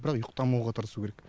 бірақ ұйықтамауға тырысу керек